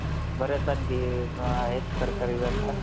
बऱ्याच आणखी आहेत सरकारी bank